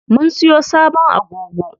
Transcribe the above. Mun siyo sabon agogo.